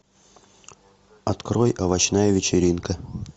открой овощная вечеринка